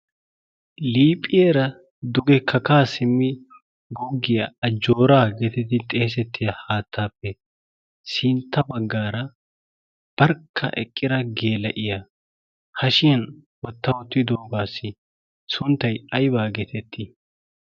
liiphphiyeera dugekakkaa simmi guggiyaa ajjooraa geeteti xeesettiya haattaappe sintta baggaara barkka eqqira geela7iya hashiyan watta ottiidoogaassi sunttai aibaa geetettii?